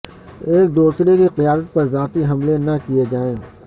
ایک دوسرے کی قیادت پر ذاتی حملے نہ کیے جائیں